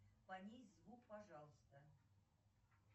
понизь звук пожалуйста